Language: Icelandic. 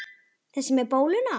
Þessi með bóluna?